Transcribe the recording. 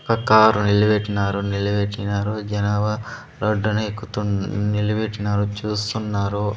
ఒక కారు నిలబెట్టినారు నిలబెట్టినారు జనాభా రోడ్డున ఎక్కుతూ నిలబెట్టినారు చూస్తున్నారు.